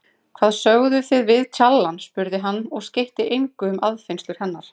Hvað sögðuð þið við tjallana? spurði hann og skeytti engu um aðfinnslur hennar.